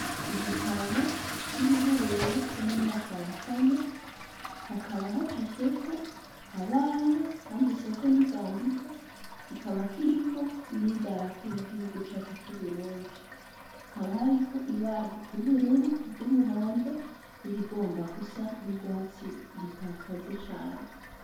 Igitabo c'ibiharuro co mu mwaka wa kane hakaba hacafyeko abana handitseko n'inzandiko kikaba kiriko n'idarapo ry'igihugu cacu c'uburundi hakaba hariko ibara ry'uburur ry'umuhondo rigomba gusa n'urwatsi itakaze cane.